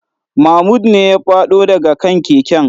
Mahmud ne ya fado da ga kan keken.